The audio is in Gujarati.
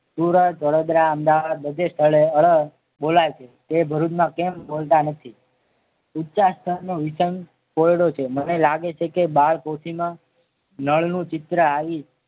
સુરત વડોદરા અમદાવાદ બધે સ્થળે ળ બોલાય છે. એ ભરૂચમાં કેમ બોલતા નથી ઉચ્ચા સ્થળનો વિસંગ કોયડો છે મને મને લાગે છે કે બાળપોથીમાં નળનું ચિત્ર